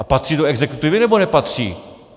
A patří do exekutivy, nebo nepatří?